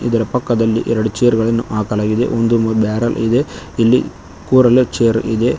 ಇದರ ಪಕ್ಕದಲ್ಲಿ ಎರಡು ಚೇರ್ಗ ಳನ್ನ ಹಾಕಲಾಗಿದೆ ಒಂದು ಬ್ಯಾರಲ್ ಇದೆ ಇಲ್ಲಿ ಕೂರಲು ಚೇರ್ ಇದೆ.